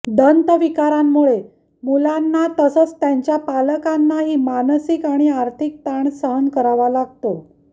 दंत विकारांमुळे मुलांना तसंच त्यांच्या पालकांनाही मानसिक आणि आर्थिक ताण सहन करावा लागतो